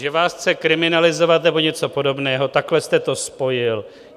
Že vás chce kriminalizovat nebo něco podobného, takhle jste to spojil.